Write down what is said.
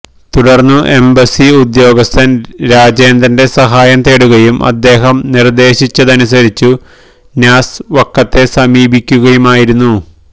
തുടർന്നു എംബസി ഉദ്യോഗസ്ഥൻ രാജേന്ദ്രന്റെ സഹായം തേടുകയും അദ്ദേഹം നിർദേശിച്ചതനുസരിച്ചു നാസ് വക്കത്തെ സമീപിക്കുകയുമായിരുന്നു